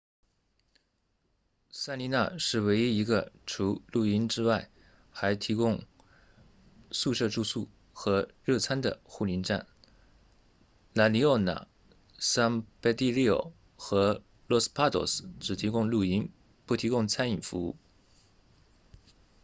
塞丽娜 sirena 是唯一一个除露营之外还提供宿舍住宿和热餐的护林站 la leona san pedrillo 和 los patos 只提供露营不提供餐饮服务